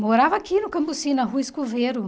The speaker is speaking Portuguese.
Morava aqui no Cambuci, na Rua Escoveiro.